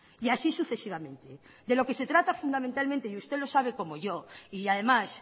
y así sucesivamente de lo que se trata fundamentalmente y usted lo sabe como yoy y además